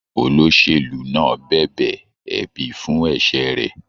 Olóṣèlú náà bẹbẹ ẹbi fún ẹsẹ rẹ.